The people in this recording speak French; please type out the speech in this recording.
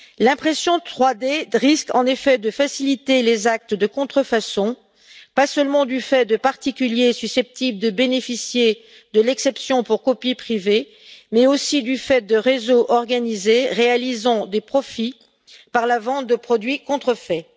L'impression 3D risque en effet de faciliter les actes de contrefaçon, pas seulement du fait de particuliers susceptibles de bénéficier de l'exception pour copie privée, mais aussi du fait de réseaux organisés réalisant des profits par la vente de produits contrefaits.